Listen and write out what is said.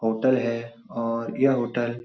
hotel है और यह होटल --